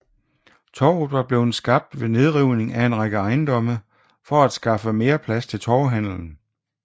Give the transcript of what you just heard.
Torvet var blevet skabt ved nedrivning af en række ejendomme for at skaffe mere plads til torvehandelen